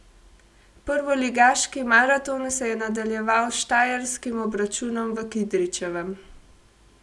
Prvoligaški maraton se je nadaljeval s štajerskim obračunom v Kidričevem.